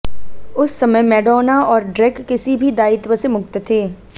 उस समय मैडोना और ड्रेक किसी भी दायित्व से मुक्त थे